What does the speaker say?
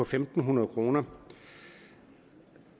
fem hundrede kroner